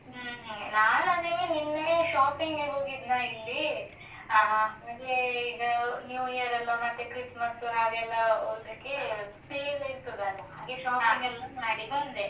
ಹ್ಮ್ ಹ್ಮ್, ನಾನಂದ್ರೆ ನಿನ್ನೆ shopping ಗೆ ಹೋಗಿದ್ನಾ ಇಲ್ಲಿ, ಅದೆ ಈಗ New Year ಎಲ್ಲ ಮತ್ತೆ Christmas ಹಾಗೆಲ್ಲಾ, ಇದ್ಕೆ sale ಇರ್ತದಲ್ಲಾ, shopping ಎಲ್ಲ ಮಾಡಿ ಬಂದೆ.